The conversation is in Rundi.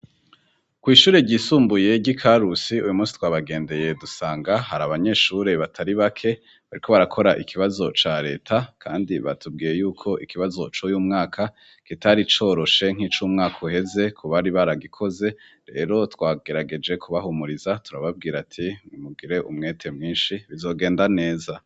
Kw'ishure ryisumbuye ryi Karusi uyu munsi twabagendeye dusanga hari abanyeshure batari bake bariko barakora ikibazo ca leta, kandi batubwiye yuko ikibazo cuy'umwaka kitari coroshe nk'ic'umwaka uheze kubari baragikoze rero twagerageje kubahumuriza turababwira ati nimugire umwete mwinshi bizogenda neza.